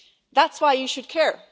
That's why you should care.